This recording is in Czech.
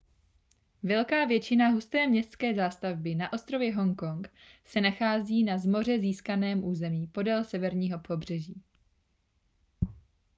velká většina husté městské zástavby na ostrově hongkong se nachází na z moře získaném území podél severního pobřeží